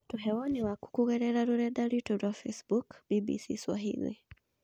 Tũhe woni waku kũgerera rũrenda rwĩtũ rwa facebook BBCSwahili